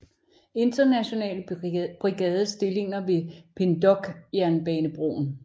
Internationale Brigades stillinger ved Pindoque jernbanebroen